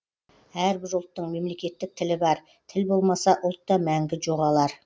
әрбір ұлттың мемлекеттік тілі бар тіл болмаса ұлт та мәңгі жоғалар